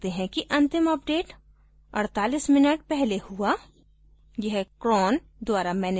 हम यह भी देख सकते हैं कि अंतिम अपडेट 48 minutes पहले हुआ